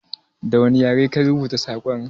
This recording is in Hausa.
Da wani yare ka rubuta sakon?